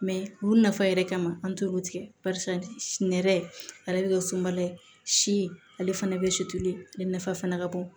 olu nafa yɛrɛ kama an t'olu tigɛ barisa nɛrɛ ale bɛ kɛ sunbala ye si ale fana bɛ sutuli ale nafa fana ka bon